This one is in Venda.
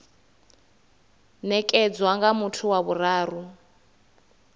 nekedzwa nga muthu wa vhuraru